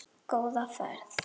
Góða ferð.